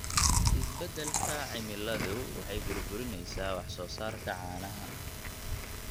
Isbeddelka cimiladu waxay burburinaysaa wax soo saarka caanaha.